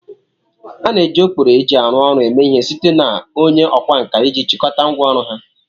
A na-eji okpkoro eji aru ọrụ eme ihe site na onye okwa nka iji chịkọta ngwá ọrụ ha